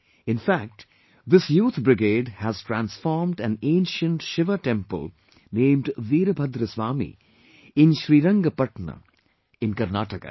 In fact, this Youth brigade has transformed an ancient Shiva temple named Veerbhadra Swami in Srirangpatna in Karnataka